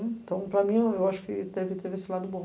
Então, para mim, eu acho que teve esse lado bom.